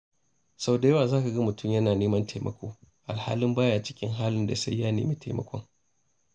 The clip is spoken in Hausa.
Sau da yawa za ka ga mutum yana neman taimako alhalin ba ya cikin halin da sai ya nemi taimakon.